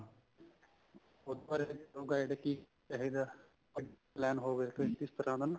ਉੱਪਰ ਨੂੰ ਗਏ ਤੇ ਕੀ ਕਹੇਗਾ plan ਹੋਵੇ ਕੁੱਛ ਇਸ ਤਰ੍ਹਾਂ ਦਾ ਨਾ